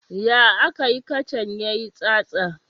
Ya akayi kacan ya yi tsatsa?